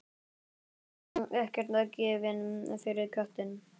Samt var hún ekkert gefin fyrir köttinn.